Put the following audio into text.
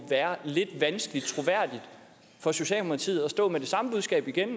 være lidt vanskeligt for socialdemokratiet troværdigt at stå med det samme budskab igen